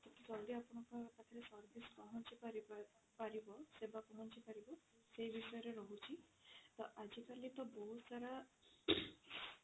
ଜଲ୍ଦି ଆପଣଙ୍କ ପାଖରେ service ପହଞ୍ଚି ପାରିବ ସେବା ପହଞ୍ଚି ପାରିବ ସେ ବିଷୟରେ ରହୁଛି ତ ଆଜି କାଲି ତ ବହୁତ ସାରା